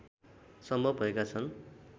सम्भव भएका छन्